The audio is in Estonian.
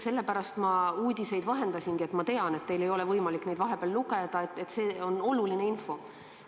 Sellepärast ma uudiseid vahendasingi, et tean, et teil ei ole võimalik neid vahepeal lugeda, aga see on oluline info.